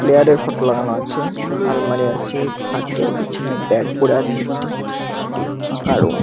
player এর photo লাগানো আছে আলমারি আছে খাটে বিছানায় ব্যাগ পড়ে আছে একটি একটি ফাঁকা রুম --